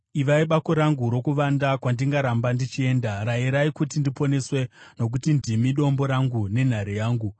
Ivai bako rangu rokuvanda kwandingaramba ndichienda; rayirai kuti ndiponeswe, nokuti ndimi dombo rangu nenhare yangu.